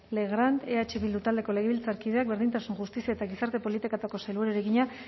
legrand eh bildu taldeko legebiltzarkideak berdintasun justizia eta gizarte politiketako sailburuari egina